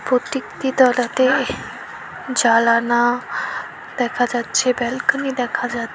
প্রত্যেকটি তলাতে জালানা দেখা যাচ্ছে ব্যালকনি দেখা যাচ্ছে।